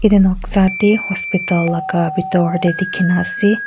etu noksa teh hospital laga bitor teh dikhi na ase.